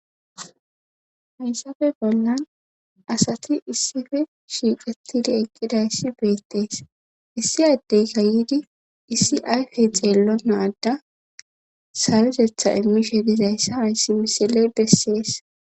hayssafe bollan asati issife shiiqetidi eqqidayssi beettees issi addey gayidi issi ayfe xeello naada sarotetha immishe dizayssa hayssi misile bessees